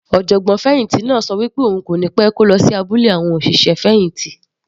Ọ̀jọ̀gbọ́n fẹ̀hìntì náà ṣọ pé òun yóò kó lọ abúlé àwọn òṣìṣẹ́ fẹ̀hìntì.